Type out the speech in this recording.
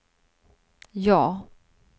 ja